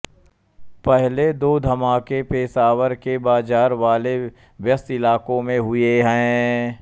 पहले दो धमाके पेशावर के बाज़ार वाले व्यस्त इलाक़ों में हुए हैं